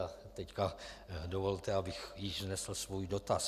A teď dovolte, abych již vznesl svůj dotaz.